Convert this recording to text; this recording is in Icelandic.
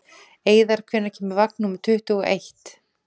Eiðar, hvenær kemur vagn númer tuttugu og eitt?